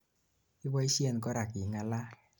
iboishen korak ingalal